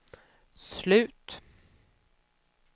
slut